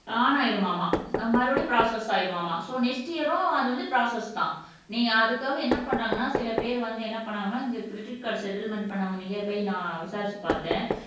on ஆயிடுமாமாம் மறுபடியும் process ஆயிருமாமாம் சோ நெக்ஸ்ட் இயரும் அது வந்து ப்ரோஸஸ்தான் நீங்க அதுக்காக என்ன பண்றாங்கன்னா சில பேர் வந்து என்ன பண்ணாங்கன்னா இந்த கிரெடிட் கார்டு செட்டில்மென்ட் பண்ணவங்க நியர் பை நான் விசாரிச்சு பார்த்தேன்